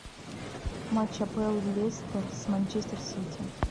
матч апл лестер с манчестер сити